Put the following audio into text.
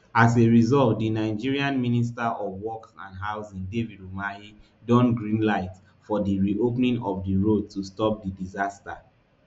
as a result di nigerian minister of works and housing david umahi don greenlight for di reopening of di road to stop di disaster